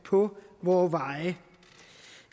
på vore veje